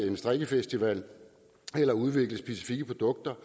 en strikkefestival eller udvikle specifikke produkter